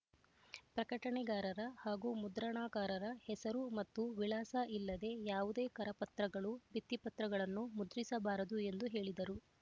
ಪ್ರಕಟಣೆಗಾರರ ಹಾಗೂ ಮುದ್ರಣಾಕಾರರ ಹೆಸರು ಮತ್ತು ವಿಳಾಸ ಇಲ್ಲದೆ ಯಾವುದೇ ಕರಪತ್ರಗಳು ಭಿತ್ರಿಪತ್ರಗಳನ್ನು ಮುದ್ರಿಸಬಾರದು ಎಂದು ಹೇಳಿದರು